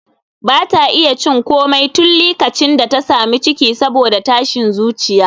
Ba ta iya cin komai tun likacin da ta sami ciki saboda tashin zuciya.